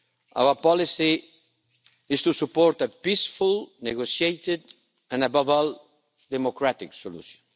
Our policy is to support a peaceful, negotiated and, above all, democratic solution.